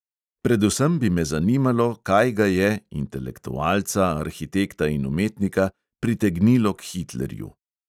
Predvsem bi me zanimalo, kaj ga je, intelektualca, arhitekta in umetnika, pritegnilo k hitlerju.